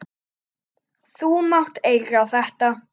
Þú mátt eiga þetta.